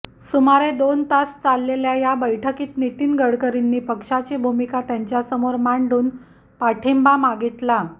सुमारे दोन तास चाललेल्या या बैठकीत नितीन गडकरींनी पक्षाची भूमिका त्यांच्यासमोर मांडून पाठिंबा मागितला